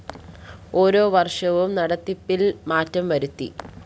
ഓരോ വര്‍ഷവും നടത്തിപ്പില്‍ മാറ്റം വരുത്തി